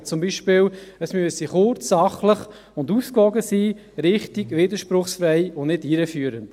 Wir sagen zum Beispiel, diese müssten kurz, sachlich und ausgewogen sein, richtig, widerspruchsfrei und nicht irreführend.